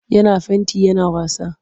Yana fenti yana wasa.